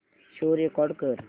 show record कर